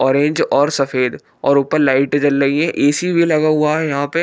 Orange और सफेद और ऊपर लाइट जल रही है ए_सी भी लगा हुआ है यहां पे।